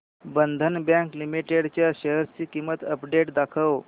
बंधन Bank Limited च्या shares ची update दाखव